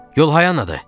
Yol hayandadır?